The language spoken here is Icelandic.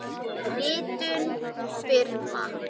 Ritun firma.